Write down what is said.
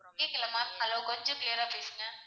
கேக்கல ma'am hello கொஞ்சம் clear ஆ பேசுங்க?